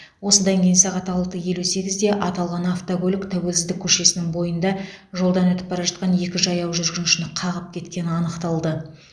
осыдан кейін сағат алты елу сегізде аталған автокөлік тәуелсіздік көшесінің бойында жолдан өтіп бара жатқан екі жаяу жүргіншіні қағып кеткені анықталды